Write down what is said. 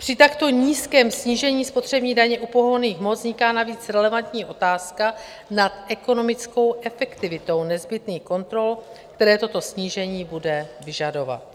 Při takto nízkém snížení spotřební daně u pohonných hmot vzniká navíc relevantní otázka nad ekonomickou efektivitou nezbytných kontrol, které toto snížení bude vyžadovat.